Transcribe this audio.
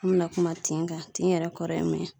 An bɛna kuma tin kan ,tin yɛrɛ kɔrɔ ye min ye.